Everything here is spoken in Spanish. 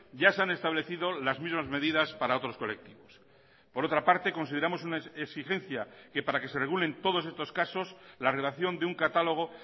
ya se han establecido las mismas medidas para otros colectivos por otra parte consideramos una exigencia que para que se regulen todos estos casos la relación de un catálogo